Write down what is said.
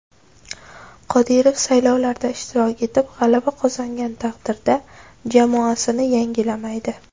Qodirov, saylovlarda ishtirok etib, g‘alaba qozongan taqdirda, jamoasini yangilamaydi.